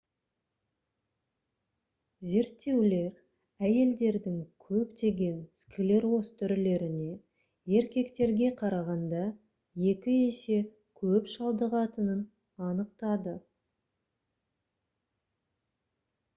зерттеулер әйелдердің көптеген склероз түрлеріне еркектерге қарағанда екі есе көп шалдығатынын анықтады